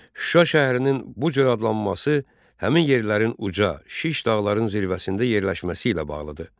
Şuşa şəhərinin bu cür adlanması həmin yerlərin uca, şiş dağların zirvəsində yerləşməsi ilə bağlıdır.